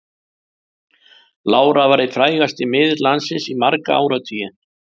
Lára var einn frægasti miðill landsins í marga áratugi.